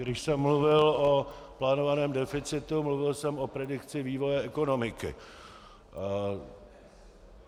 Když jsem mluvil o plánovaném deficitu, mluvil jsem o predikci vývoje ekonomiky.